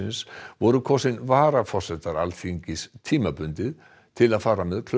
voru kosin varaforsetar Alþingis tímabundið til að fara með